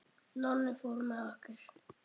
Nonni fór með okkur.